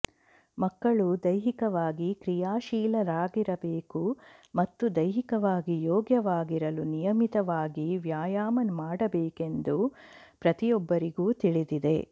ಮಕ್ಕಳು ದೈಹಿಕವಾಗಿ ಕ್ರಿಯಾಶೀಲರಾಗಿರಬೇಕು ಮತ್ತು ದೈಹಿಕವಾಗಿ ಯೋಗ್ಯವಾಗಿರಲು ನಿಯಮಿತವಾಗಿ ವ್ಯಾಯಾಮ ಮಾಡಬೇಕೆಂದು ಪ್ರತಿಯೊಬ್ಬರಿಗೂ ತಿಳಿದಿದೆ